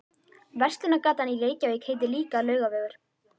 Verslunargatan í Reykjavík heitir líka Laugavegur.